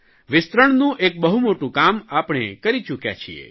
વિસ્તરણનું એક બહુ મોટું કામ આપણે કરી ચૂક્યા છીએ